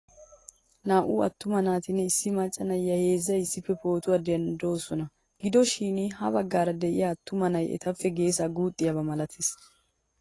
Naa'u attuma naatinne issi macca na'iyaa heezzay issippe pootuwaa denddidosona. Gido shin habagaara de'iyaa attuma na'ay etappe geesaa guuxxiyaaba malates.